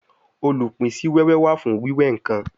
Olupin si wewe wa fun wiwe nkan